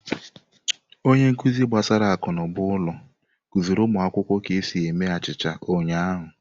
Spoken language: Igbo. Onye nkuzi gbasara akụnụba ụlọ kụziri ụmụ akwụkwọ ka esi eme achịcha ụnyahụ.